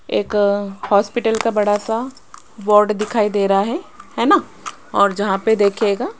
एक आ हॉस्पिटल का बड़ा सा बोर्ड दिखाई दे रहा है हैना और जहां पे देखियेगा --